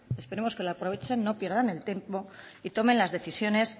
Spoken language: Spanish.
esperemos que la aprovechen no pierdan el tiempo y tomen las decisiones